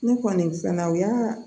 Ne kɔni fɛnɛ u y'a